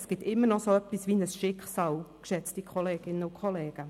Es gibt immer noch so etwas wie ein Schicksal, geschätzte Kolleginnen und Kollegen.